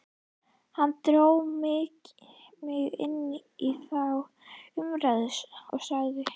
Hann dró mig inn í þá umræðu og sagði